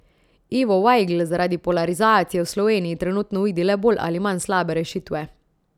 Ivo Vajgl zaradi polarizacije v Sloveniji trenutno vidi le bolj ali manj slabe rešitve.